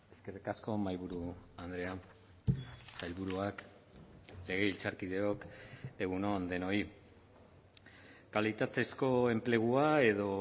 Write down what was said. eskerrik asko mahaiburu andrea sailburuak legebiltzarkideok egun on denoi kalitatezko enplegua edo